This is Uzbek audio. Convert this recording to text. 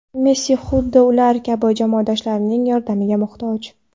Messi xuddi ular kabi, jamoadoshlarining yordamiga muhtoj.